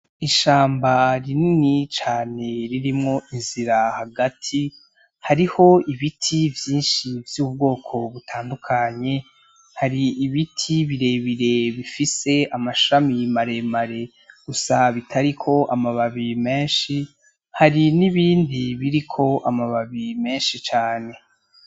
Ishamba rinini cane ririmwo inzira hagati, hariho ibiti vyinshi vy'ubwoko butandukanye, hari ibiti birebire bifise amashami maremare gusa bitariko amababi menshi, hari n'ibindi biriko amababi menshi cane.